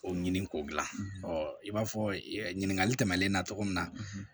O ɲini k'o dilan i b'a fɔ ɲininkali tɛmɛnen na cogo min na